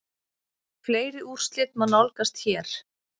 Fleiri úrslit má nálgast hér